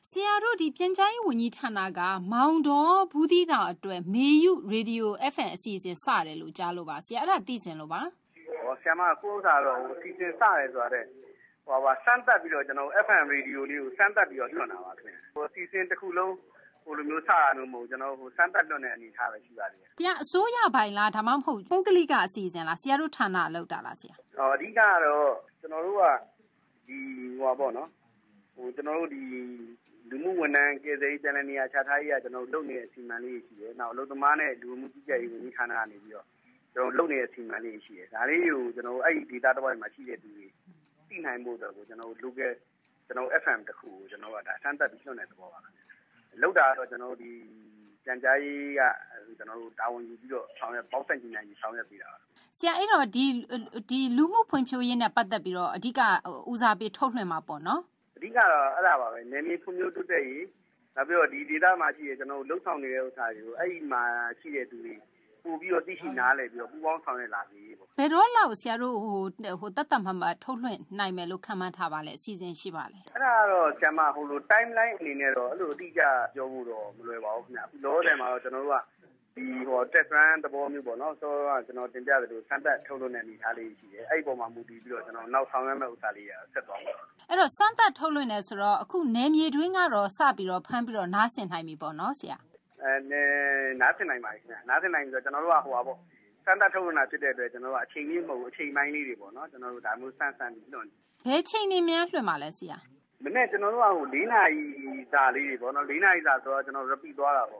ဆရာတို့ ဒီပြန်ကြားရေးဝန်ကြီးဌာနက မောင်တော၊ ဘူးသီးတောင်အတွက် မေယု FM ရေဒီယို အစီအစဉ်စတယ်လို့ကြားလို့ပါဆရာ အဲဒါသိချင်လို့ပါ။ အခုဟာက အစီအစဉ် စတယ်ဆိုတာ FM ရေဒီယိုလေးကို စမ်းသပ်ပြီးတော့ လွှင့်တာပါခင်ဗျ ၊ အစီအစဉ်တခုလုံး စလွှင့်တာမဟုတ်ဘူး ကျနော်တို့ စမ်းသပ်လွှင့်တဲ့အနေအထားလေးပဲရှိပါသေးတယ်။ ဒီဟာက အစိုးရပိုင်လား ၊ဒါမှမဟုတ် ပုဂ္ဂလိက အစီအစဉ်လား ဆရာတို့ဌာနက လုပ်တာလား အဓိကတော့ ကျနော်တို့ လူမူဝန်ထမ်း၊ ကယ်ဆယ်ရေးနဲ့ ပြန်လည်နေရာချထားရေးဌာနက လုပ်နေတဲ့ အစီအမံလေးတွေရှိတယ်၊ နောက်အလုပ်သမားနဲ့ လူဝင်မူကြီးကြပ်ရေးဌာနကနေပြီးတော့ လုပ်နေတဲ့ အစီအမံလေးတွေရှိတယ် ဒါတွေကို ကျနော်တို့က အဲဒီဒေသတဝိုက်မှာ ရှိတဲ့သူတွေသိနိုင်ဖို့အတွက်ကို ကျနော်တို့ Local FM တခုကို ကျနော်တို့ စမ်းသပ်ပြီးတော့ လွှင့်တဲ့သဘောမျိုးပါ။ လုပ်တာကတော့ ကျနော်တို့ ဒီပြန်ကြားရေးက တာဝန်ပေါင်းစပ်ညှိနှိုင်းဆောင်ရွက်ပေးတာပေါ့နော်။ ဆရာ အဲဒီတော့ လူမှုဖွံ့ဖြိုးရေးနဲ့ ပတ်သက်ပြီးတော့ အဓိက ဦးစားပေးထုတ်လွှင့်မှာပေါ့နော် အဓိကတော့ အဲဒါပါပဲ နယ်မြေဖွံ့ဖြိုးရေးအတွက် နောက်ပြီးတော့ ဒီဒေသမှာ ရှိတဲ့ ကျနော်တို့လုပ်ဆောင်နေတဲ့ဟာတွေကို အဲဒီမှာရှိတဲ့သူတွေ ပိုပြီးတော့ သိရှိနားလည်ပြီးတော့ ပူးပေါင်းဆောင်ရွက်လာစေရေးပေါ့။ ဘယ်တော့လောက်ဆရာတို့ သတ်သတ်မှတ်မှတ်ထုတ်လွှင့်နိုင်မယ်လို့ ခန့်မှန်းထားပါသလဲ၊ အစီအစဉ်ရှိပါသလဲ။ အဲဒါကတော့ Timeline အနေနဲ့ကတော့ အတိအကျပြောဖို့တော့ မလွယ်ပါဘူးခင်ဗျ။ လောလောဆယ်မှာတော့ ကျနော်တို့က စမ်းသပ်ထုတ်လွှင့်တာလေးတွေရှိတယ်၊ အဲဒီအပေါ်မှာ မူတည်ပြီးတော့ ကျနော်တို့ နောက်ဆောင်ရွက်မှာလေးတွေဆက်သွားမှာပါ။ အဲဒီတော့ စမ်းသပ်ထုတ်လွှင့်တယ်ဆိုတော့ အခုနယ်မြေအတွင်းကတော့ စပြီးတော့ ဖမ်းပြီးတော့ နားဆင်နိုင်ပြီပေါ့နော် နားဆင်နိုင်ပါတယ်ခင်ဗျ၊ ကျနော်တို့က ဒီ စမ်းသပ်ထုတ်လွှင့်တာဖြစ်တဲ့အတွက် ကျနော်တို့က အချိန်ပြည့်မဟုတ်ဘူး အချိန်ပိုင်းလေးတွေပေါ့နော် ဒါမျိုးစမ်းပြီးလွှင့်နေပါတယ်။ ဘယ်အချိန်တွေများ လွှင့်ပါသလဲဆရာ၊ ကျနော်တို့က မနက်မှာ ၄ နာရီစာလေးတွေပေါ့နော်၊ ၄ နာရီစာဆိုတော့ repeat သွားတာပေါ